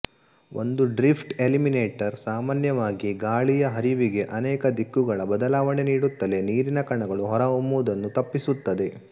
ಒಂದು drift eliminator ಸಾಮಾನ್ಯವಾಗಿ ಗಾಳಿಯ ಹರಿವಿಗೆ ಅನೇಕ ದಿಕ್ಕುಗಳ ಬದಲಾವಣೆ ನೀಡುತ್ತಲೇ ನೀರಿನ ಕಣಗಳು ಹೊರಹೊಮ್ಮವುದನ್ನು ತಪ್ಪಿಸುತ್ತದೆ